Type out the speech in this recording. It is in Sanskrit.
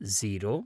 झीरो